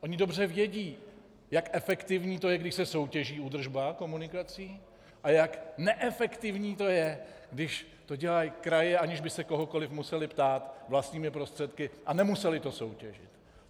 Oni dobře vědí, jak efektivní to je, když se soutěží údržba komunikací, a jak neefektivní to je, když to dělají kraje, aniž by se kohokoliv musely ptát, vlastními prostředky, a nemusely to soutěžit.